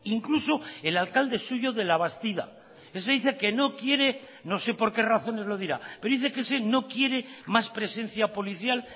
incluso el alcalde suyo de labastida ese dice que no quiere no sé por qué razones lo dirá pero dice que ese no quiere más presencia policial